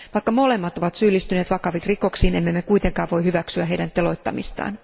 Vaikka molemmat ovat syyllistyneet vakaviin rikoksiin, emme me kuitenkaan voi hyväksyä heidän teloittamistaan.